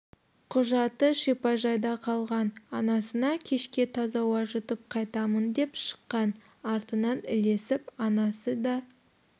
құжаты шипажайда қалған анасына кешке таза ауа жұтып қайтамын деп шыққан артынан ілесіп анасы де